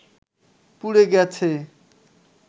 পুড়ে গেছে